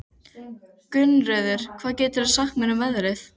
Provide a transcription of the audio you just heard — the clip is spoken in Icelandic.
Gunnröður, hvað geturðu sagt mér um veðrið?